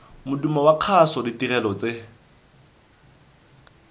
modumo wa kgaso ditirelo tse